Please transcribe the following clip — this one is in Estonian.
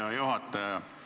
Hea juhataja!